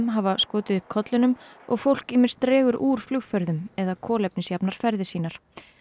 hafa skotið upp kollinum og fólk ýmist dregur úr flugferðum eða kolefnisjafnar ferðir sínar